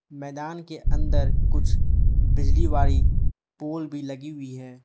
मैदान के अंदर कुछ बिजली वाली पोल भी लगी हुई है।